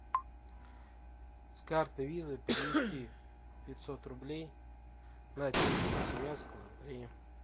с карты виза перевести пятьсот рублей на телефон синявского андрея